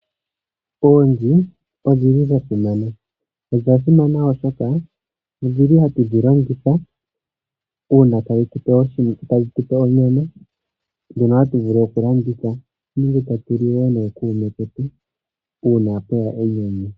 Oonzi odhi li dha simana. Odha simana oshoka odhili ha tu dhi landitha onga onyama ndjono nenge ta tu li nookuume ketu uuna pweya enyanyu.